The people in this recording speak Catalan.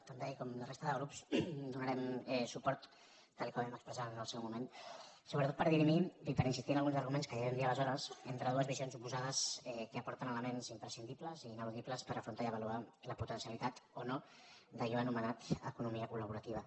també i com la resta de grups hi donarem suport tal com vam expressar en el seu moment sobretot per dirimir i per insistir en alguns arguments que ja vam dir aleshores entre dues visions oposades que aporten elements imprescindibles i ineludibles per afrontar i avaluar la potencialitat o no d’allò anomenat economia col·laborativa